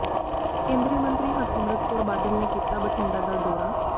ਕੇਂਦਰੀ ਮੰਤਰੀ ਹਰਸਿਮਰਤ ਕੌਰ ਬਾਦਲ ਨੇ ਕੀਤਾ ਬਠਿੰਡਾ ਦਾ ਦੌਰਾ